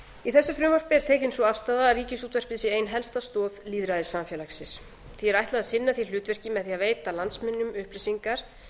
í þessu frumvarpi er tekin sú afstaða að ríkisútvarpið sé ein helsta stoð lýðræðissamfélagsins því er ætlað að sinna því hlutverki með því að veita landsmönnum upplýsingar